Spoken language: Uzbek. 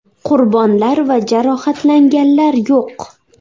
Qurbonlar va jarohatlanganlar yo‘q.